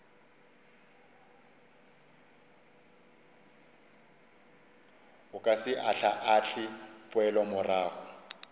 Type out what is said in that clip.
o ka se ahlaahle poelomorago